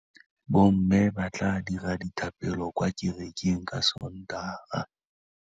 Bommê ba tla dira dithapêlô kwa kerekeng ka Sontaga.